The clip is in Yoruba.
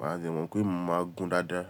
Màá de mọ̀ pé mo máa gún dáadáa.